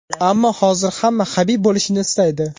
Ammo hozir hamma Habib bo‘lishni istaydi.